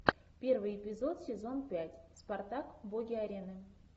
первый эпизод сезон пять спартак боги арены